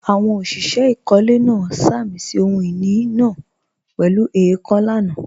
Àwọn òṣìṣẹ́ ìkọ́lé náà sàmì sí ohun ìní náà pẹ̀lú èèkàn lánàá